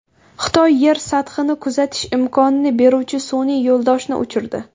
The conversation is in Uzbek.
Xitoy Yer sathini kuzatish imkonini beruvchi sun’iy yo‘ldoshni uchirdi.